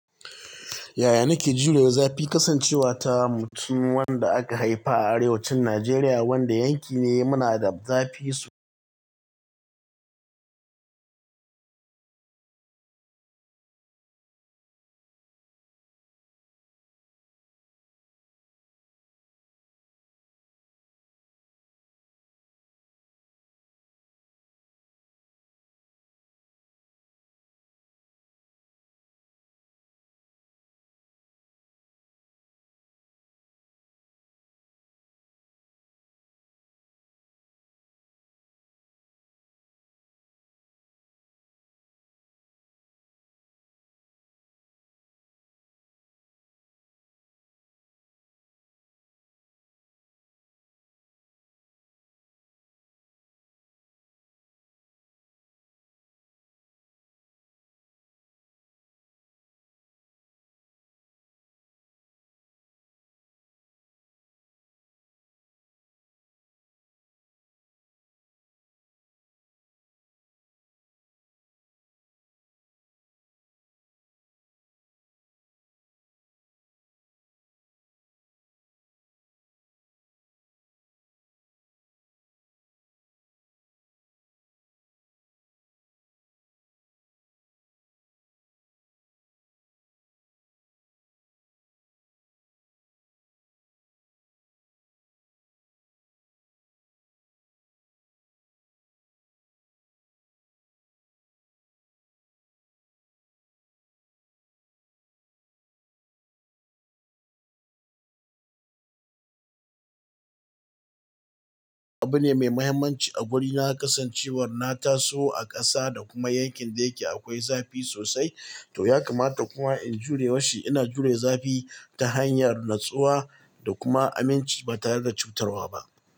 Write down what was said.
Yaya nake jure zafi? Kasancewa ta mutum wanda aka haifa a arewacin Najeriya wanda yanki ne munada zafi yanki ne muhimmanci a wuri na, kasancewa na taso a kasa da kuma yankin dayake akwai zafi sosai, to ya kamata kuma in jure washe. Ina jure zafi ta hanyar natsuwa da kuma aminci ba tare da cutarwa ba.